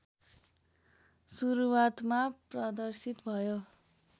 सुरुवातमा प्रदर्शित भयो